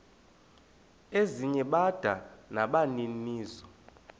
ezinye bada nabaninizo